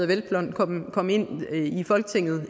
hvelplund kom ind